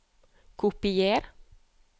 Kopier